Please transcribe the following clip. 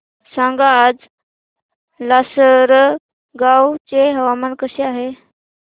सांगा आज लासलगाव चे हवामान कसे आहे